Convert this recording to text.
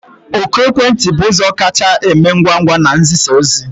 Oku ekwentị bụ ụzọ kacha eme ngwa ngwa n'izisa ozi